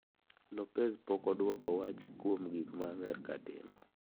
Lopez pok odwoko wach kuom gik ma Amerka timo.